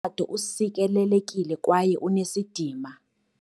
tshato usikelelekile kwaye unesidima.